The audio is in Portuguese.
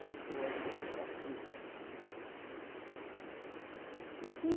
Eu sou a segunda filha. E que